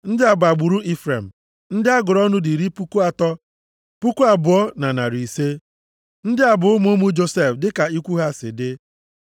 Ndị a bụ agbụrụ Ifrem. Ndị a gụrụ ọnụ dị iri puku atọ, puku abụọ na narị ise (32,500). Ndị a bụ ụmụ ụmụ Josef dịka ikwu ha si dị.